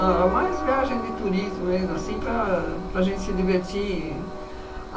Era mais viagem de turismo mesmo, assim, para para a gente se divertir.